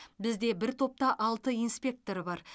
бізде бір топта алты инспектор бар